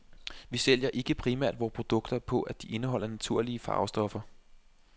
Vi sælger ikke primært vore produkter på, at de indeholder naturlige farvestoffer.